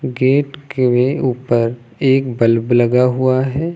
Gate के ऊपर एक बल्ब लगा हुआ है।